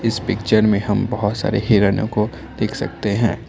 इस पिक्चर में हम बहोत सारे हिरनों को देख सकते हैं।